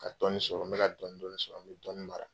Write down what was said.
Ka dɔɔnin sɔrɔ n bɛ ka dɔɔnin dɔɔnin sɔrɔ n bɛ dɔɔnin mara.